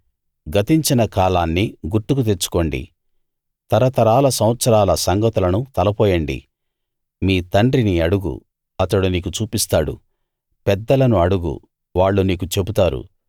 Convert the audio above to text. గతించిన కాలాన్ని గుర్తుకు తెచ్చుకోండి తరతరాల సంవత్సరాల సంగతులను తలపోయండి మీ తండ్రిని అడుగు అతడు నీకు చూపిస్తాడు పెద్దలను అడుగు వాళ్ళు నీకు చెబుతారు